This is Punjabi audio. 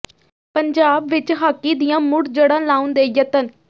ਪੰਜਾਬ ਵਿਚ ਹਾਕੀ ਦੀਆਂ ਮੁੜ ਜੜ੍ਹਾਂ ਲਾਉਣ ਦੇ ਯਤਨ